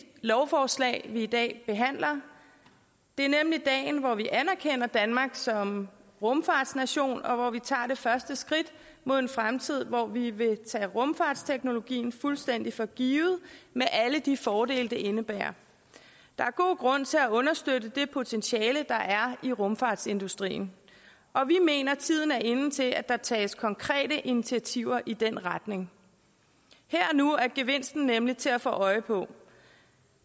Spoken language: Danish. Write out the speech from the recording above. lovforslag vi i dag behandler det er nemlig dagen hvor vi anerkender danmark som rumfartsnation og hvor vi tager det første skridt mod en fremtid hvor vi vil tage rumfartsteknologien fuldstændig for givet med alle de fordele det indebærer der er god grund til at understøtte det potentiale der er i rumfartsindustrien og vi mener at tiden er inde til at der tages konkrete initiativer i den retning her og nu er gevinsten nemlig til at få øje på